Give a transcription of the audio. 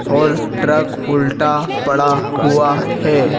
और ट्रक उल्टा पड़ा हुआ है।